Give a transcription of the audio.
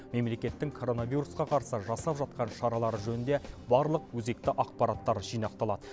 мемлекеттің коронавирусқа қарсы жасап жатқан шаралары жөнінде барлық өзекті ақпараттар жинақталады